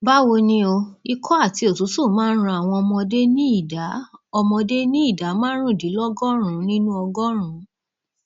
báwo ni o ikọ àti òtútù máa ń ran àwọn ọmọdé ní ìdá ọmọdé ní ìdá márùndínlọgọrùnún nínú ọgọrùnún